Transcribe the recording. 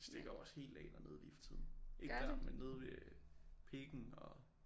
Det stikker jo også helt af dernede lige for tiden ikke der men nede ved Pikken og